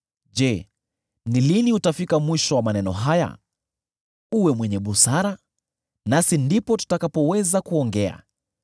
“Je, ni lini utafika mwisho wa maneno haya? Uwe mwenye busara, nasi ndipo tutakapoweza kuongea.